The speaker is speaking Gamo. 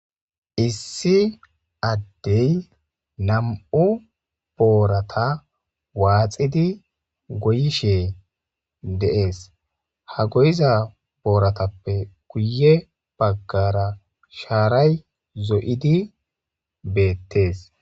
issi addey nam7u boorata waaxidi goyishe dees ha goyiza booratappe kuye baggara shaaray zo7idi beettes